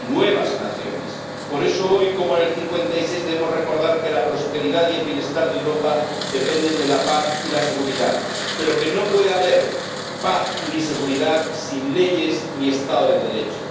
De nuevas naciones. Por eso hoy, como en el 56, debemos recordar que la prosperidad y el bienestar de Europa dependen de la paz y la seguridad, pero que no puede haber paz ni seguridad sin leyes ni Estado de Derecho